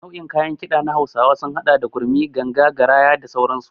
Nau'in kayan Kiɗa na hausawa sun hada da gurmi, ganga, garaya da sauransu.